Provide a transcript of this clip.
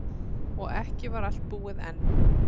Og ekki var allt búið enn.